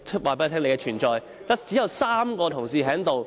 反對派只有3名同事在席。